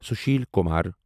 social Kumar